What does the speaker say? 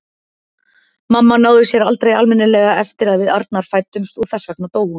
Mamma náði sér aldrei almennilega eftir að við Arnar fæddumst og þess vegna dó hún.